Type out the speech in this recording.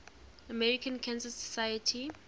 american cancer society